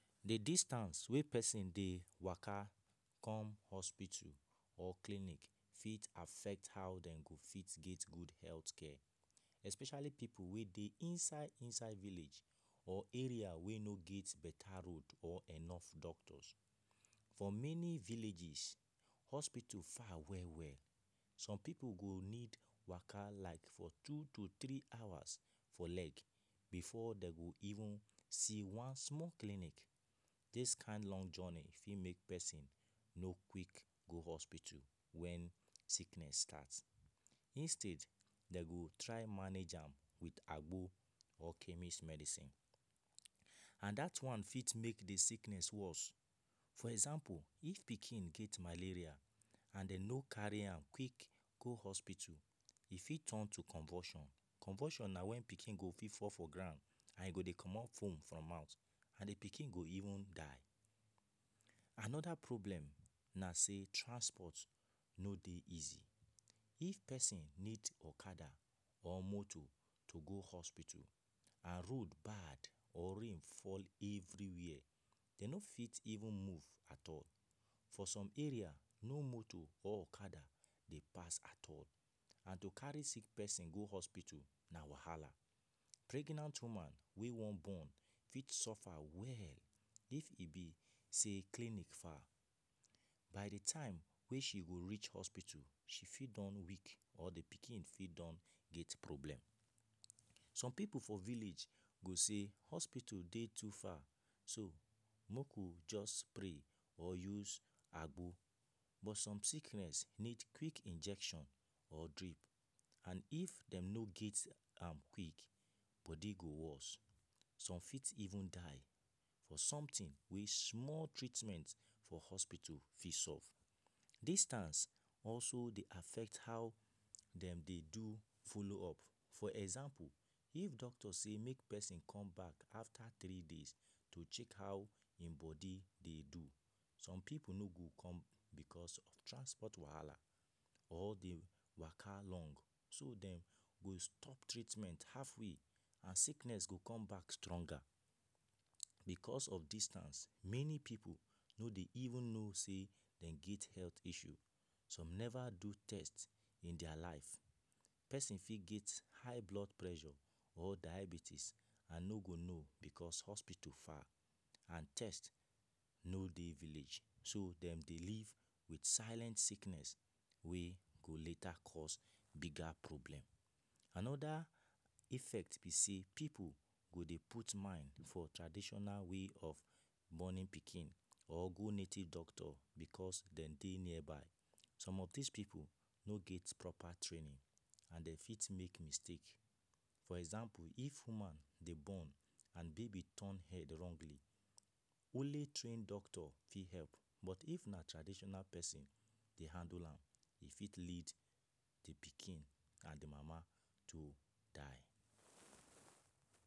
The distance wey pesin dey waka come hospito or clinic fit affect how dem go fit get good health care Especially pipu wey dey inside-inside village or area wey no grt better road or enough doctors For many villages, hospito far well-well Some pipu go need waka for like two to three hours for leg, before them go even see one clinic Dis kind long journey fit make pesin no quick go hospito when sickness start Instead, dem go try manage am with agbo or chemist medicine And that one fit make sickness worse For example, if pikin get malaria, and dem no carry am quick go hospito e fit turn to convulsion Convulsion na when pikin go fit fall for ground, and he go dey comot foam for mouth and the pikin go even die Another problem na say transport no dey easy, if pesin need okada or moto to go hospito and road bad or rain fall everywhere Dem no fit even move atall, for some area no moto or okada dey pass atall and to carry and to carry sick pesin go hospital na wahala Pregnant woman wey wan born fit suffer well if e be sey clinic far By the time wey she go reach hospito she fit don weak or the pikin fit don get problem Some pipu for village go say hospito dey to far maku just pray or use agbo But some sickness need quick injection or drip And if dem no get am quick bodi go worse Some fit even die for something wey small treatment for hospital fit solve Distance also dey affect how dem dey do follow up For example, if doctor say make pesin come back after three days to check how im body dey do Some pipu no go come because of transport wahala or the waka long So dem go stop treatment halfway and sickness go come back stronger Because of distance many pipu no dey even no say dem get health issue Some never do test in dia life Pesin fit get high blood pressure or diabetes and no go no because hospito far and test no dey village So dem dey live with silent sickness wey go later cause bigger problem Another effect be say pipu go dey put mind for traditional way of borni pikin or go native doctor because dem dey nearby Some of dis pipu no get proper traini And dem fit make mistake For example, if woman dey born and baby turn head wrongly Only train doctor fit help But if na traditional pesin dey handle am e fit lead the pikin and the mama to die